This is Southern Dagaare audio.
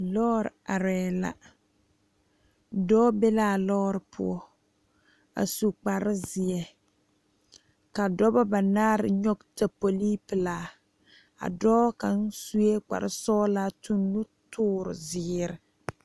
Lɔre are la dɔɔ be la lɔre poɔ a su kpare ziɛ ka dɔɔba banaare nyoŋ tapole pelaa dɔɔ kaŋa suɛ kpare sɔglaa tu nu tuure ziɛ.